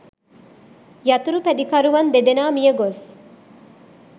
යතුරුපැදිකරුවන් දෙදෙනා මියගොස්